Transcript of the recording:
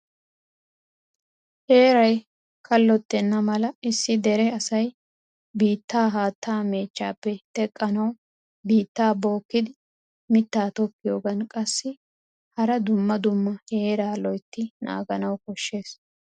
Heeray kalottena mala issi dere asay biittaa haattaa mechchappe teqqanawu biittaa bookkidi mitta tokkiyogan qassi hara dumma dumma heeraa loyttidi naaganawu koshshees.